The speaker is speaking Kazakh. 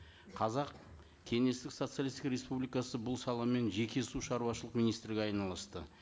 қазақ кеңестік социалисттік республикасы бұл саламен жеке су шаруашылық министрлігі айналысты